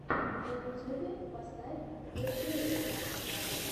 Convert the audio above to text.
на ютьюбе поставь зе кьюриос